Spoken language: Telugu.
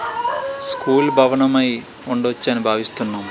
స్కూల్ భవనము ఐ ఉండవచ్చు అని భావిస్తున్నాం --